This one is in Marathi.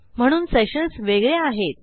म्हणून सेशन्स वेगळे आहेत